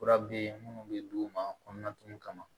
Fura be yen munnu be d'u ma kɔnɔna tumu kama